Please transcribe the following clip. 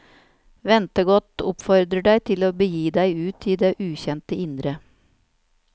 Ventegodt oppfordrer deg til å begi deg ut i det ukjente indre.